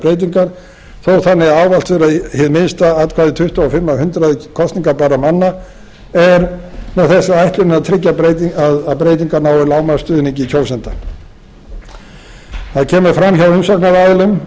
breytingar þó þannig að áherslur í það minnsta atkvæði tuttugu og fimm af hundraði kosningabærra manna er með þessu er ætlunin að tryggja að breytingar nái lágmarksstuðningi kjósenda það kemur fram hjá umsagnaraðilum